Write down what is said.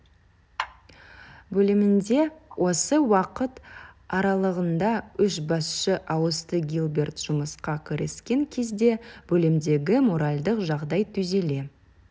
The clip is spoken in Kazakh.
бөлімінде осы уақыт аралығында үш басшы ауысты гилберт жұмысқа кіріскен кезде бөлімдегі моральдық жағдай түзеле